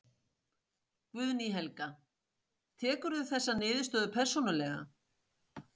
Guðný Helga: Tekurðu þessa niðurstöðu persónulega?